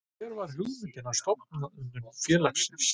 Hver var hugmyndin að stofnun félagsins?